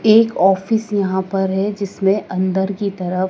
एक ऑफिस यहां पर है जिसमें अंदर की तरफ--